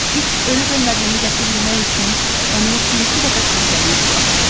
İt ölüb-ölmədiyini qəti bilmək üçün onu bir-iki dəfə silkələyib buraxdı.